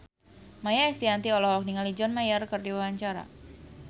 Maia Estianty olohok ningali John Mayer keur diwawancara